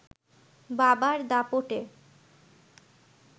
বাবার দাপটে